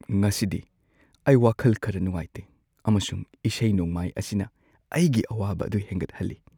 ꯉꯁꯤꯗꯤ ꯑꯩ ꯋꯥꯈꯜ ꯈꯔ ꯅꯨꯡꯉꯥꯏꯇꯦ ꯑꯃꯁꯨꯡ ꯏꯁꯩ-ꯅꯣꯡꯃꯥꯏ ꯑꯁꯤꯅ ꯑꯩꯒꯤ ꯑꯋꯥꯕ ꯑꯗꯨ ꯍꯦꯟꯒꯠꯍꯜꯂꯤ꯫